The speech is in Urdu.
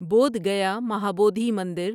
بودھ گیا مہابودھی مندر